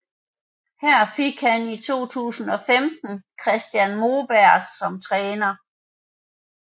Her fik han i 2015 Christian Moberg som træner